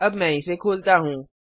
अब मैं इसे खोलता हूँ